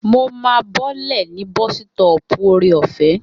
Mo máa bọ́lẹ̀ ní bọ́sítọ̀ọ̀pù Ore-ọ̀fẹ́